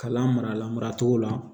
Kalan marala maracogo la